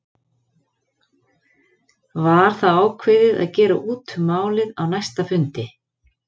Var þá ákveðið að gera út um málið á næsta fundi.